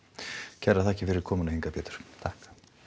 kærar þakkir fyrir komuna hingað Pétur takk